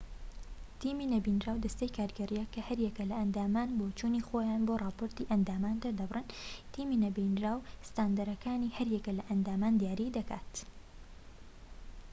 تیمی نەبینراو دەستەی کارگێڕییە کە هەریەکە لە ئەندامانی بۆچوونی خۆیان بۆ ڕاپۆرتی ئەندامان دەردەبڕن تیمی نەبینراو ستاندەرەکانی هەر یەک لە ئەندامان دیاری دەکات